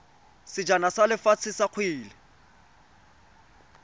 sejana sa lefatshe sa kgwele